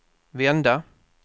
vända